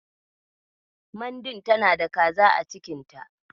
Mandin tana da kaza a cikin ta.